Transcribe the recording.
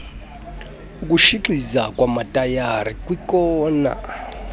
ukutshixiza kwamatayara kwiikona